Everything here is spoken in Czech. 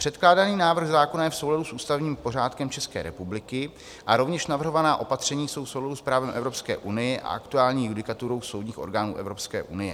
Předkládaný návrh zákona je v souladu s ústavním pořádkem České republiky a rovněž navrhovaná opatření jsou v souladu s právem Evropské unie a aktuální judikaturou soudních orgánů Evropské unie.